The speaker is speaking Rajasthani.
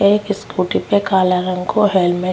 एक स्कूटी पे काला रंग को हेलमेट --